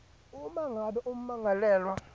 uma ngabe ummangalelwa